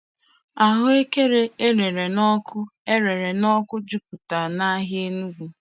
Ahụekere eyere n'oku eyere n'oku jupụtara n'ahịa Enugwu.